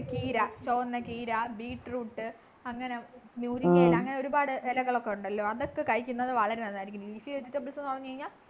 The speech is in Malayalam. ചീര beetroot അങ്ങനെ മുരിങ്ങയില അങ്ങനെ ഒരുപാട് എലകളൊക്കെ ഉണ്ടല്ലോ അതൊക്കെ കഴിക്കുന്നത് വളരെ നല്ലതായിരിക്കും leafy vegetbles ന്നു പറഞ്ഞു കഴിഞ്ഞാൽ